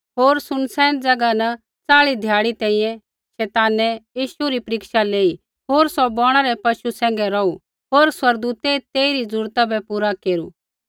होर सुनसान ज़ैगा न चाल़ी ध्याड़ी तैंईंयैं शैतानै यीशु री परीक्षा लेई होर सौ बौणा रै पशु सैंघै रौहु होर स्वर्गदूतै तेइरी जरूरता बै पूरा केरू